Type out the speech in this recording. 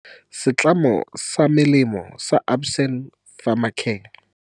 Setlamo sa melemo sa Aspen Pharmacare.